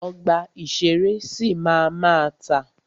Ọgbà ìṣẹ̀rẹ́ sì máa ma tà.